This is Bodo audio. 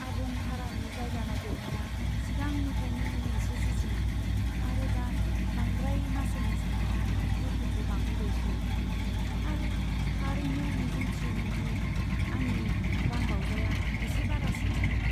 आबुं भारानि जायगा नागिरनाया सिगांनिफ्रायनो मोनसे जुजिनां, आरो दा बांद्राय मासुलनि साननाया दुखुखौ बांहोबायसो। आं थारैनो मिजिं थियोमोन दि आंनि रांबावजाया एसे बारासिन जागोन।